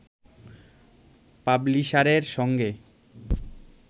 পাবলিশারের সঙ্গে